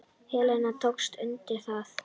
Helena tók undir það.